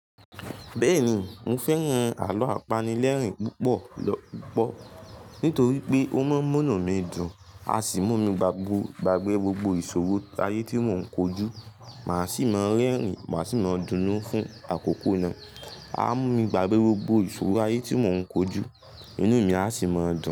Bẹ́ẹ̀ni, mo fẹ́ran àlọ́ apanilẹ́rìn púpọ̀ lọ́pọ̀ nítorí pé ó maa ń munu mi dùn, a sì mú mi gbàgbé gbogbo ìṣòro ayé tí mò ń kojú, màá sì máa rẹ́rìn, màá sì máa dunú fún àkókò náà. A mú mi gbàgbé gbogbo ìṣòro ayé tí mò ń kojú, inú mi a sì máa dùn.